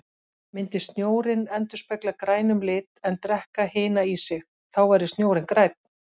Myndi snjórinn endurspegla grænum lit en drekka hina í sig, þá væri snjórinn grænn.